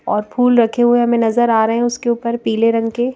और फूल रखे हुए हमें नजर आ रहे हैं उसके ऊपर पीले रंग के--